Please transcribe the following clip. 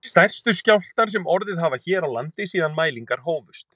Stærstu skjálftar sem orðið hafa hér á landi síðan mælingar hófust